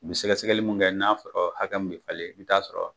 N ye sɛgɛsɛgɛli min kɛ n'a sɔra hakɛ min bɛ falen i bɛ t'a sɔrɔ